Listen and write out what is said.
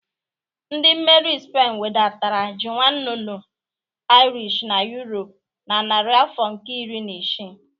Ndị mmeri Spen webatara ji nwannunu Irish na Europe na narị afọ nke iri na isii.